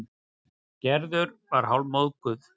Gerður var hálfmóðguð.